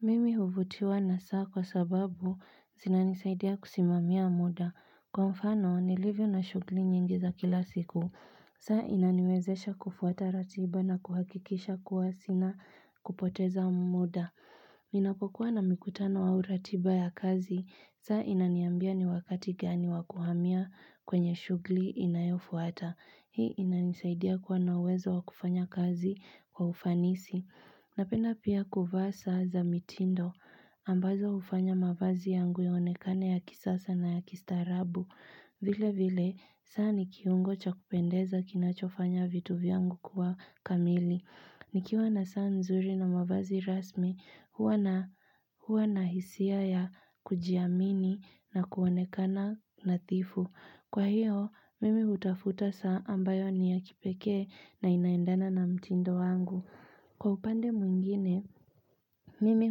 Mimi huvutiwa na saa kwa sababu zinanisaidia kusimamia muda. Kwa mfano, nilivyo na shughli nyingi za kila siku. Saa inaniwezesha kufuata ratiba na kuhakikisha kuwa sina kupoteza muda. Ninapokuwa na mikutano au ratiba ya kazi. Saa inaniambia ni wakati gani wa kuhamia kwenye shughli inayofuata. Hii inanisaidia kuwa na uwezo wa kufanya kazi kwa ufanisi. Napenda pia kuvaa saa za mitindo ambazo hufanya mavazi yangu yaonekane ya kisasa na ya kistarabu. Vile vile, saa ni kiungo cha kupendeza kinachofanya vitu vyangu kuwa kamili. Nikiwa na saa nzuri na mavazi rasmi, huwa na hisia ya kujiamini na kuonekana nadhifu. Kwa hiyo, mimi hutafuta saa ambayo ni ya kipekee na inaendana na mtindo wangu. Kwa upande mwingine, mimi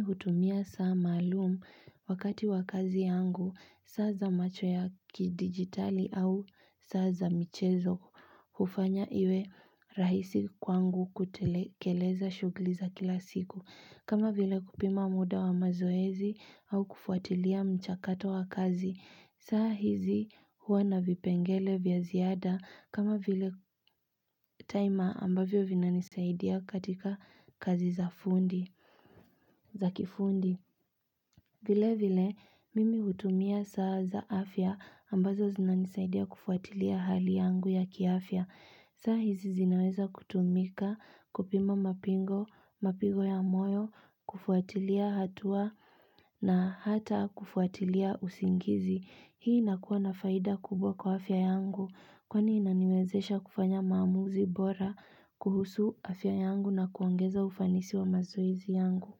hutumia saa maalum, wakati wa kazi yangu, saa za macho ya kidigitali au saa za michezo hufanya iwe rahisi kwangu kutekeleza shughli za kila siku. Kama vile kupima muda wa mazoezi au kufuatilia mchakato wa kazi. Saa hizi huwa na vipengele vya ziada kama vile timer ambavyo vinanisaidia katika kazi za kifundi. Vile vile, mimi hutumia saa za afya ambazo zinanisaidia kufuatilia hali yangu ya kiafya. Saa hizi zinaweza kutumika kupima mapingo, mapigo ya moyo, kufuatilia hatua na hata kufuatilia usingizi. Hii inakuwa na faida kubwa kwa afya yangu, kwani inaniwezesha kufanya maamuzi bora kuhusu afya yangu na kuongeza ufanisi wa mazoezi yangu.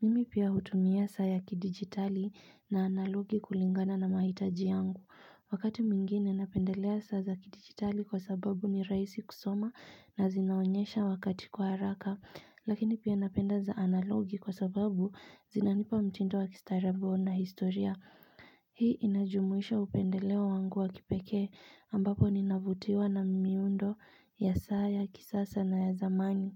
Mimi pia hutumia saa ya kidigitali na analogi kulingana na mahitaji yangu. Wakati mwingine napendelea saa za kidigitali kwa sababu ni rahisi kusoma na zinaonyesha wakati kwa haraka, lakini pia napenda za analogi kwa sababu zinanipa mtindo wa kistaarabu na historia. Hii inajumuisha upendeleo wangu wa kipekee, ambapo ninavutiwa na miundo ya saa ya kisasa na ya zamani.